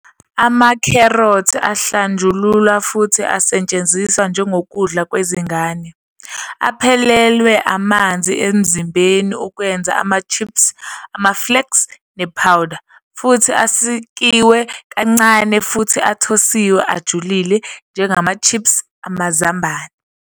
Ama- carrot ahlanjululwa futhi asetshenziswa njengokudla kwezingane, aphelelwe amanzi emzimbeni ukwenza ama-chips, ama-flakes, ne-powder, futhi asikiwe kancane futhi athosiwe ajulile, njengama- chips amazambane.